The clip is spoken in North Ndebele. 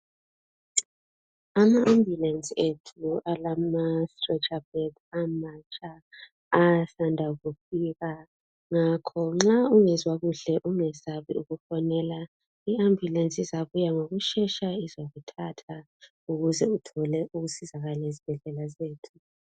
Ama Ambulance ethu alama strecha bed amatsha asanda kufika ngakho nxa ungezwa kuhle ungesabi ukufonela i Ambulance izabuya ngokushesha izokuthatha ukuze uthole ukusizakala ezibhedlela zethu